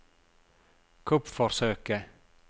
kuppforsøket